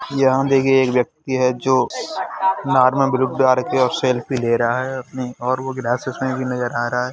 यहाँ देखिए एक व्यक्ति है जो नार्मल द्वारा सेल्फी ले रहा है अपनी और वो ग्लासेस में भी नजर आ रहा है |